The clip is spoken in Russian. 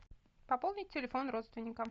пополнить телефон родственника